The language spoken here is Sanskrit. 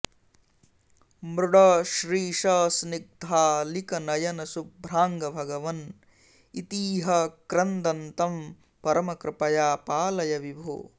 मृड श्रीश स्निग्धालिकनयन शुभ्राङ्ग भगवन् इतीह क्रन्दन्तं परमकृपया पालय विभो